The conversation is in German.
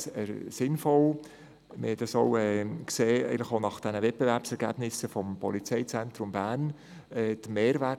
Dies hatten wir auch bei den Wettbewerbsergebnissen zum Polizeizentrum Bern gesehen.